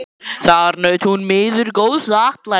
Þar naut hún miður góðs atlætis.